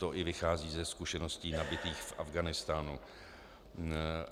To i vychází ze zkušeností nabytých v Afghánistánu.